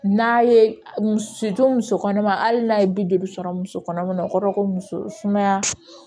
N'a ye muso don muso kɔnɔma hali n'a ye bi duuru sɔrɔ muso kɔnɔma na o kɔrɔ ye ko muso sumaya